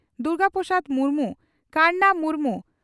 Durga Prasad Murmu Karna Murmu